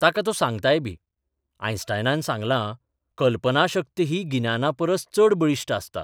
ताका तो सांगतायबीः आयन्स्टायनान सांगलां, कल्पनाशक्त ही गिन्यानापरस चड बळिश्ठ आसता.